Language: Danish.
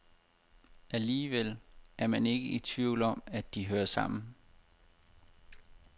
Alligevel er man ikke i tvivl om, at de hører sammen.